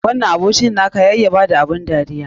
Wannan abokin na ka ya iya ba da abun dariya.